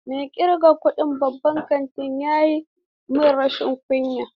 Mai ƙirgan kuɗin babban kantin ya yi min rashin kunya.